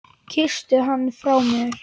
Kysstu hann frá mér.